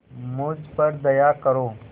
मुझ पर दया करो